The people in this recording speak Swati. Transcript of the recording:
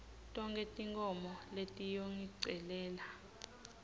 tonkhe tinkhomo letiyongicelela